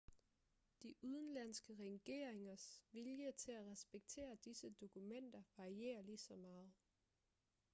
de udenlandske regeringers vilje til at respektere disse dokumenter varierer ligeså meget